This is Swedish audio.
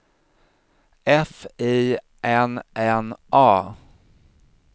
F I N N A